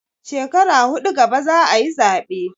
Shekara huɗu gaba za a yi zaɓe.